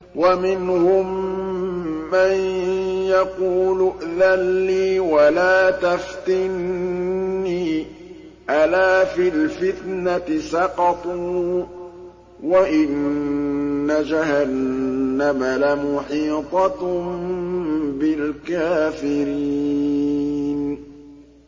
وَمِنْهُم مَّن يَقُولُ ائْذَن لِّي وَلَا تَفْتِنِّي ۚ أَلَا فِي الْفِتْنَةِ سَقَطُوا ۗ وَإِنَّ جَهَنَّمَ لَمُحِيطَةٌ بِالْكَافِرِينَ